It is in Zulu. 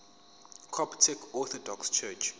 coptic orthodox church